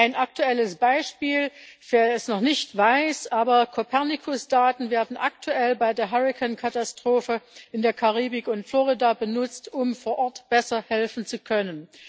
Ein aktuelles Beispiel für den, der es noch nicht weiß Copernicus Daten werden aktuell bei der Hurrikan Katastrophe in der Karibik und Florida benutzt, um vor Ort besser helfen zu können.